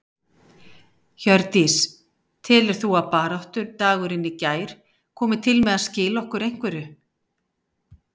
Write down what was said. Hjördís: Telur þú að baráttudagurinn í gær komi til með að skila okkur einhverju?